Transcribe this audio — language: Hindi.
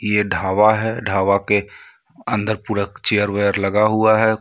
ये ढाबा है ढाबा के अंदर पूरा चेयर वेयर लगा हुआ है कुछ --